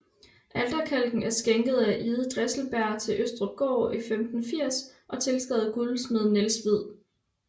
Alterkalken er skænket af Ide Dresselberg til Østrupgård 1580 og tilskrevet guldsmed Niels Hvid